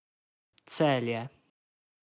Celje.